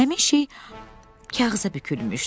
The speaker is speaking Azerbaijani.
Həmin şey kağıza bükülmüşdü.